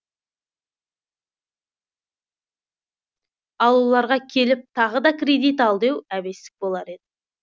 ал оларға келіп тағы да кредит ал деу әбестік болар еді